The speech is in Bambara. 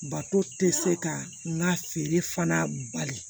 Bato tɛ se ka n ka feere fana bali